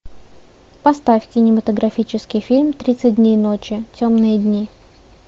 поставь кинематографический фильм тридцать дней ночи темные дни